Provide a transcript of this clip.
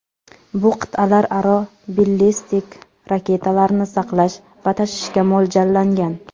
Bu qit’alararo ballistik raketalarni saqlash va tashishga mo‘ljallangan.